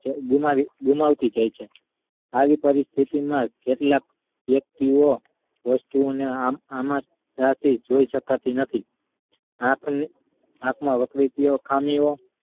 ગુમાવે ~ગુમાવતી થાય છે આ ઉપરની સ્થિતિ માં કેટલાક વ્યક્તિ ઓ વસ્તુ ઓ ને આમ જ રાખી જોઈ શકતી નથી આપણા ~આપણા વકૃતિઓ ખામી ઓ